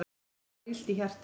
Honum var illt í hjartanu.